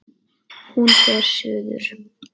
Hún fer suður.